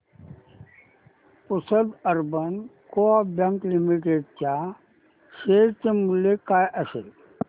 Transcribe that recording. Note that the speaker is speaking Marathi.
Pusad urban coop bank limited च्या शेअर चे मूल्य काय असेल